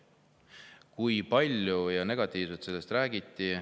Kui palju sellest negatiivselt räägiti!